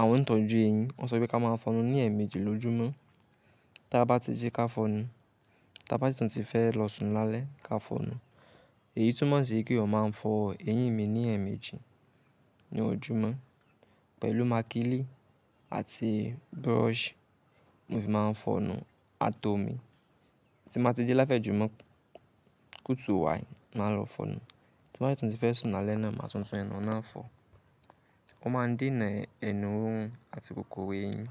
Àwọn òǹtọ̀jú eyín wọ́n sọ wípé ká má a n fọnu ní ẹ̀ẹ̀méjì lójúmọ́. Tí a bá ti jí ká fọnu, tí a bá ti tún ti fẹ́ lọ sùn lálẹ́ ká fọnu. Èyí túmọ̀ sí kí o má eyan ma n fọ eyín mi ní ẹ̀ẹ̀méjì ní ojúmọ́ pẹ̀lú màkílì àti brush. Mo fi má a n fọnu atomi. Tí mo bá ti jí láfẹ̀mọ́júmọ́ kùtù wáì má a n lọ fọnu. Tí mo bá ti tún ti fẹ́ sùn lálẹ́ náà máa tuntun ẹnu náà fọ. Wọ́n má n dènà ẹnu rirun àti kòkòrò eyín.